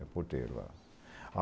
É porteiro lá